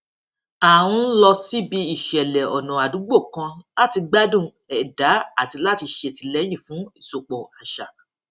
a ń lọ síbi ìṣẹlẹ ọnà àdúgbò kan láti gbádùn ẹdá àti láti ṣètìlẹyìn fún ìsopọ àṣà